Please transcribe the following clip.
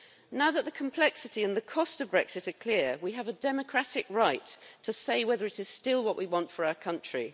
Now that the complexity and the cost of Brexit are clear, we have a democratic right to say whether it is still what we want for our country.